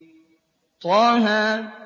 طه